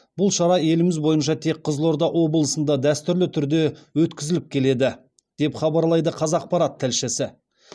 бұл шара еліміз бойынша тек қызылорда облысында дәстүрлі түрде өткізіліп келеді деп хабарлайды қазақпарат тілшісі